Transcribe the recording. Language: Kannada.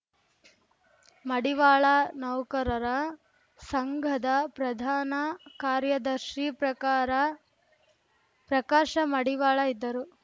ಮಡಿವಾಳ ನೌಕರರ ಸಂಘದ ಪ್ರಧಾನ ಕಾರ್ಯದರ್ಶಿ ಪ್ರಕಾರ ಪ್ರಕಾಶ ಮಡಿವಾಳ ಇದ್ದರು